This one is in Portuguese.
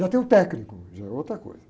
Já tem o técnico, já é outra coisa.